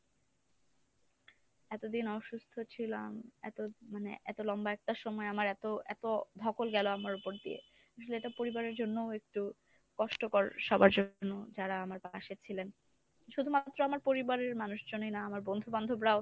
এতদিন অসু্স্থ ছিলাম এত মানে এত লম্বা একটা সময় আমার এত এত ধকল গেল আমার উপর দিয়ে আসলে এটা পরিবারের জন্যও একটু কষ্টকর সবার জন্য যারা আমার পাশে ছিলেন। শুধুমাত্র আমার পরিবারের মানুষজনই না আমর বন্ধু-বান্ধবরাও